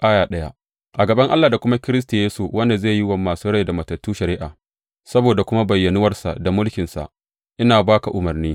A gaban Allah da kuma Kiristi Yesu, wanda zai yi wa masu rai da matattu shari’a, saboda kuma bayyanuwarsa da mulkinsa, ina ba ka umarni.